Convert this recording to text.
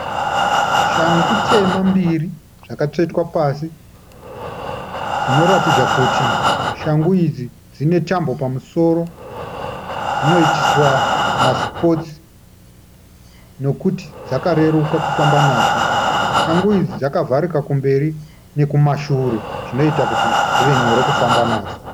Shangu tema mbiri dzakatsvetwa pasi dzinoratidza kuti shangu idzi dzinetambo pamusoro dzinoitiswa masipotsi nokuti dzakareruka kufamba nadzo. Shangu idzi dzakavharika kumberi nekumashure zvinoita kuti dzive nyore kufamba nadzo.